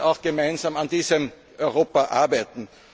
Wir wollen gemeinsam an diesem Europa